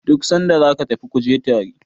duk sanda za ka tafi ku je tare!